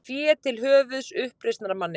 Fé til höfuðs uppreisnarmanni